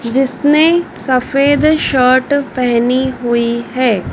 जिसने सफेद शर्ट पहनी हुई हैं।